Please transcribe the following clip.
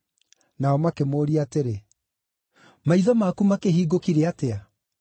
Nao makĩmũũria atĩrĩ, “Maitho maku makĩhingũkire atĩa?”